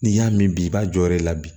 N'i y'a mɛn bi i b'a jɔyɔrɔ la bi